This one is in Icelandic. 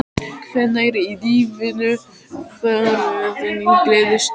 Hvenær í lífinu var þín gleðistund?